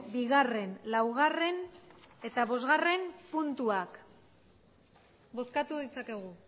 bigarren laugarren eta bosgarren puntuak bozkatu ditzakegu